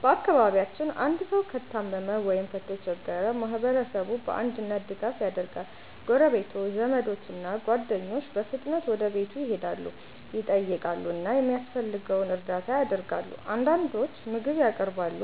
በአካባቢያችን አንድ ሰው ከታመመ ወይም ከተቸገረ ማህበረሰቡ በአንድነት ድጋፍ ያደርጋል። ጎረቤቶች፣ ዘመዶች እና ጓደኞች በፍጥነት ወደ ቤቱ ይሄዳሉ፣ ይጠይቃሉ እና የሚያስፈልገውን እርዳታ ያደርጋሉ። አንዳንዶች ምግብ ያቀርባሉ፣